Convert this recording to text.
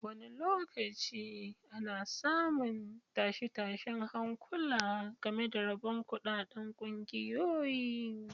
Wani lokaci ana samun tashe-tashen hankula game da rabon kuɗaɗen ƙungiyoyi.